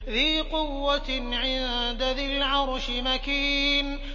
ذِي قُوَّةٍ عِندَ ذِي الْعَرْشِ مَكِينٍ